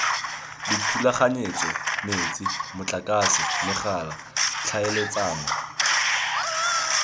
dithulaganyetso metsi motlakase megala tlhaeletsano